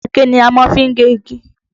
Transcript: Àáké ni a má fi gé igi